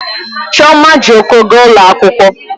Chioma ji ụkwụ gaa ụlọ akwụkwọ